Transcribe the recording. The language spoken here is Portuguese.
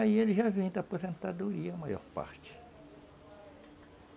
Aí eles já vêm da aposentadoria, a maior parte.